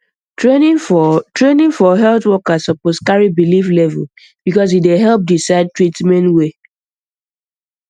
training for training for health workers suppose carry belief level because e dey help decide treatment way